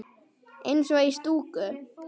Eins og í stúku.